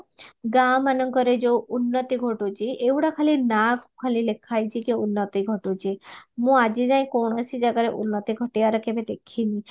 ଗାଁ ମାନଙ୍କରେ ଯୋଉ ଉନ୍ନତି ଘଟୁଚି ଏଇଗୁଡା ଖାଲି ନାଁ କୁ ଖାଲି ଲେଖା ହେଇଚି କି ଉନ୍ନତି ଘଟୁଚି ମୁଁ ଆଜି ଯାଏ କୌଣସି ଜାଗାରେ ଉନ୍ନତି ଘଟିବାର କେବେ ଦେଖିନି